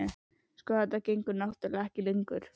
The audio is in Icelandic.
Sko. þetta gengur náttúrlega ekki lengur.